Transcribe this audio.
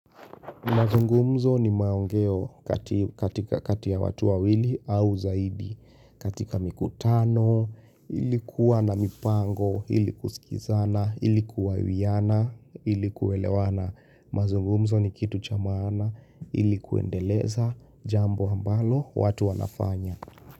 Mazungumzo ni maongeo katika kati ya watu wawili au zaidi. Katika mikutano, ilikuwa na mipango, ili kusikizana, ili kuwawiana, ili kuelewana. Mazungumzo ni kitu cha maana, ili kuendeleza jambo ambalo watu wanafanya.